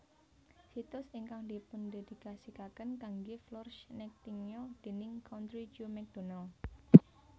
Situs ingkang dipundhedikasikaken kanggé Florence Nightingale déning Country Joe McDonald